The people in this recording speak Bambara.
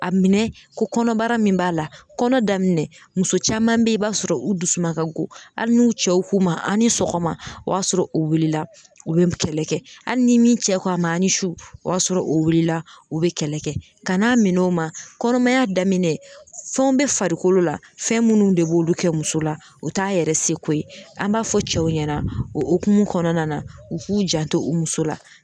A minɛn ko kɔnɔbara min b'a la kɔnɔ daminɛ muso caman bɛ ye i b'a sɔrɔ u dusuma ka go hali n'u cɛw k'u ma a' ni sɔgɔma o y'a sɔrɔ u wulila u bɛ kɛlɛ kɛ hali ni min cɛ ko a ma a' ni su o y'a sɔrɔ o wulila o bɛ kɛlɛ kɛ ka n'a minɛ o ma kɔnɔmaya daminɛ fɛnw bɛ farikolo la fɛn minnu de b'olu kɛ muso la o t'a yɛrɛ seko ye an b'a fɔ cɛw ɲɛna o hokumu kɔnɔna na u k'u janto u muso la.